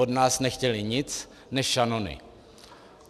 Od nás nechtěli nic než šanony.